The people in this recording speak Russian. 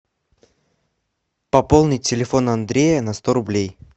пополни телефон андрея на сто рублей